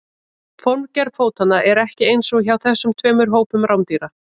Formgerð fótanna er ekki eins hjá þessum tveimur hópum rándýra.